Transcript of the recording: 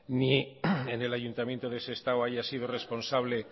ni en el ayuntamiento de sestao haya sido responsable